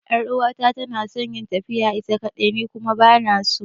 Yar'uwata tana son tafiya ita kaɗai, ni kuma ba na so.